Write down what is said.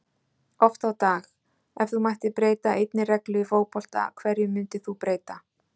Oft á dag Ef þú mættir breyta einni reglu í fótbolta, hverju myndir þú breyta?